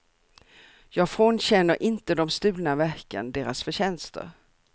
Jag frånkänner inte de stulna verken deras förtjänster.